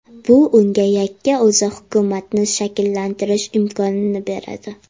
Bu unga yakka o‘zi hukumatni shakllantirish imkonini beradi.